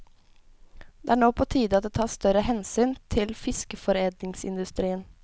Det er nå på tide at det tas større hensyn til fiskeforedlingsindustrien.